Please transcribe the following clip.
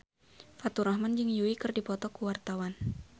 Faturrahman jeung Yui keur dipoto ku wartawan